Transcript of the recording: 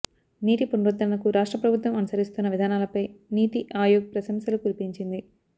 నీటి పునరుద్ధరణకు రాష్ట్రం ప్రభుత్వం అనుసరిస్తున్న విధానాలపై నీతిఆయోగ్ ప్రశంసలు కురిపించింది